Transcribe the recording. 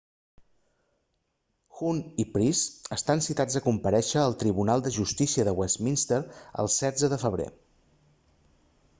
huhne i pryce estan citats a comparèixer al tribunal de justícia de westminster el 16 de febrer